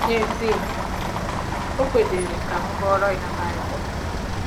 N'ezie, o kwedịrị ka m gụọrọ ya Baịbụl.